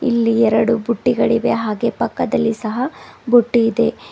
ಇಲ್ಲಿ ಎರಡು ಬುಟ್ಟಿಗಳಿವೆ ಹಾಗೆ ಪಕ್ಕದಲ್ಲಿ ಸಹ ಬುಟ್ಟಿ ಇದೆ.